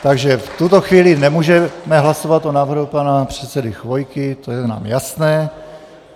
Takže v tuto chvíli nemůžeme hlasovat o návrhu pana předsedy Chvojky, to je nám jasné.